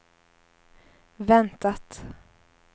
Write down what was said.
väntat